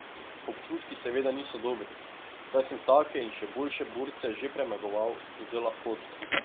Občutki seveda niso dobri, saj sem take in še boljše borce že premagoval z lahkoto.